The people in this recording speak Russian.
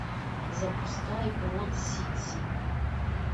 запускай брод сити